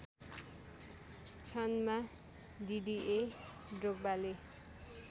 क्षणमा डिडिए ड्रोग्बाले